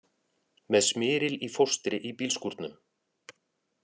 Með smyril í fóstri í bílskúrnum